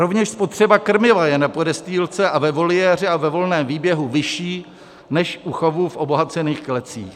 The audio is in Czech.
Rovněž spotřeba krmiva je na podestýlce a ve voliéře a ve volném výběhu vyšší než u chovu v obohacených klecích.